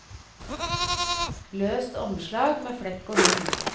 Løst omslag med flekk og hull.